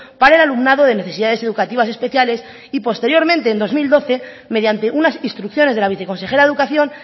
para el alumnado de necesidades educativas especiales y posteriormente en dos mil doce mediante unas instrucciones de la viceconsejera de educación